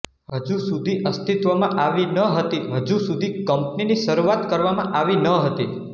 હજુ સુધી અસ્તિત્વમાં આવી ન હતી હજુ સુધી કંપનીની શરૂઆત કરવામાં આવી ન હતી